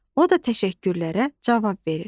O da təşəkkürlərə cavab verir.